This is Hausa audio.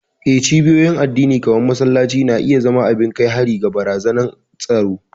Eh, cibiyoyin addini kamar masallaci na iya zama abin kai hari ga barazanar tsaro.